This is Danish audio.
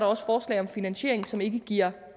også forslag om finansiering som ikke giver